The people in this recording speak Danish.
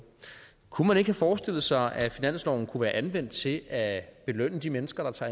kunne man ikke have forestillet sig at finansloven kunne have været anvendt til at belønne de mennesker der tager